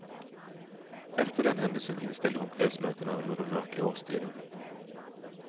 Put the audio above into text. Efter den händelsen inställde hon kvällsmötena under den mörka årstiden.